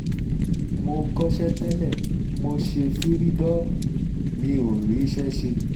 mo kọ́ṣẹ́ tẹ́lẹ̀ mo ṣe fìrìdọ́ọ̀mù mi ò ríṣẹ́ ṣe